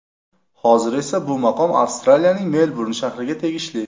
Hozir esa bu maqom Avstraliyaning Melburn shahriga tegishli.